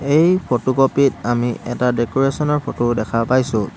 এই ফটোকপি ত আমি এটা ডেক'ৰেচন ৰ ফটো দেখা পাইছোঁ।